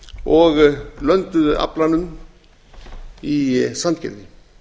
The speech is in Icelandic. og lönduðu aflanum í sandgerði